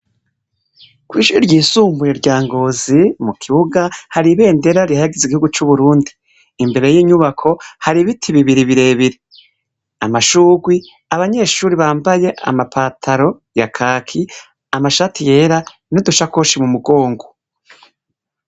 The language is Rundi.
Kw'ishure ryisumbuye rya Ngozi, mu kibuga hari ibendera rihayagiza igihugu c'Uburundi. Imbere y'inyubako hari ibiti bibiri birebire, amashugwe, abanyeshure bambaye ama pantaro ya kaki, amashati yera n'udushakoshi mu mugongo.